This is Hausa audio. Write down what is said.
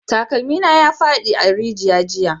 Takalmi na ya fadi a rijiya jiya